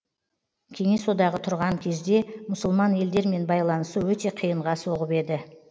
кеңес одағы тұрған кезде мұсылман елдермен байланысу өте қиынға соғып еді